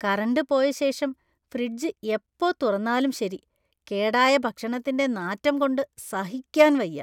Current പോയ ശേഷം fridge എപ്പോ തുറന്നാലും ശരി, കേടായ ഭക്ഷണത്തിന്‍റെ നാറ്റം കൊണ്ട് സഹിക്കാന്‍ വയ്യ.